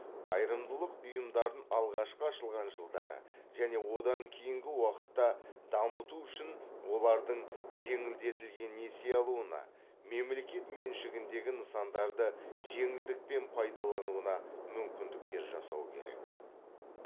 қайырымдылық ұйымдарын алғашқы ашылған жылдары және одан кейінгі уақытта дамыту үшін олардың жеңілдетілген несие алуына мемлекет меншігіндегі нысандарды жеңілдікпен пайдалануына мүмкіндіктер жасау керек